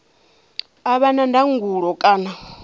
a vha na ndangulo kana